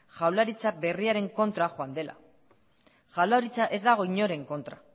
jaurlaritza berriaren kontra joan dela jaurlaritza ez dago inoren kontra